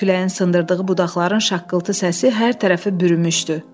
Küləyin sındırdığı budaqların şaqqıltı səsi hər tərəfi bürümüşdü.